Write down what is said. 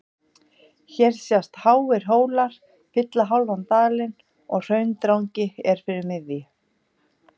hér sjást háir hólar fylla hálfan dalinn og hraundrangi er fyrir miðju